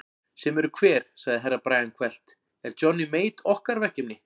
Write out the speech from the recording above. Sem eru hver sagði Herra Brian hvellt, er Johnny Mate okkar verkefni?